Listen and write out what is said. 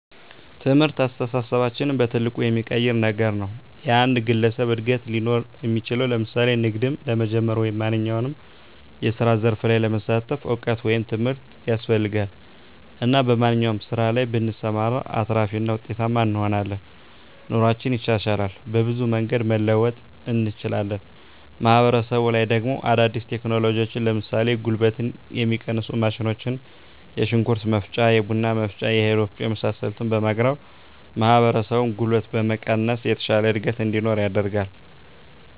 ትምህርት አስተሳሰባችንን በትልቁ የሚቀይር ነገር ነዉ። የአንድ ግለሰብ እድገት ሊኖር እሚችለዉ ለምሳሌ ንግድም ለመጀመር ወይም ማንኛዉም የስራ ዘርፍ ላይ ለመሳተፍ እዉቀት ወይም ትምህርት ያስፈልጋል እና በማንኛዉም ስራ ላይ ብንሰማራ አትራፊ እና ዉጤታማ እንሆናለን። ኑሮአችን ይሻሻላል፣ በብዙ መንገድ መለወጥ እንችላለን። ማህበረሰቡ ላይ ደሞ አዳዲስ ቴክኖሎጂዎችን ለምሳሌ ጉልበትን የሚቀንሱ ማሽኖች የሽንኩርት መፍጫ፣ የቡና መፍጫ፣ የእህል ወፍጮ የመሳሰሉትን በማቅረብ ማህበረሰቡን ጉልበት በመቀነስ የተሻለ እድገት እንዲኖር ያደርጋል።